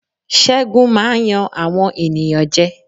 Ṣẹ́gun máa ń yan àwọn ènìyàn jẹ́.